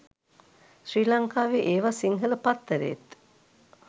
ශ්‍රි ලංකාවේ ඒවා සිංහල පත්තරේත්